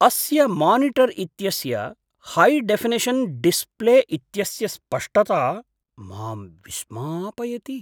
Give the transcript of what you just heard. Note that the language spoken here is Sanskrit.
अस्य मानिटर् इत्यस्य है डेफिनिषन् डिस्प्ले इत्यस्य स्पष्टता मां विस्मापयति।